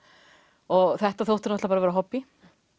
og þetta þótti náttúrulega vera hobbí